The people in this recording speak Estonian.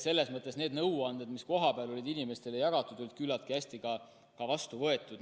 Selles mõttes need nõuanded, mis kohapeal inimestele jagati, said küllaltki hästi ka vastu võetud.